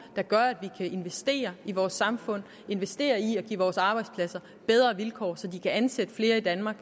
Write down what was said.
der gør at vi kan investere i vores samfund og investere i at give vores arbejdspladser bedre vilkår så de kan ansætte flere i danmark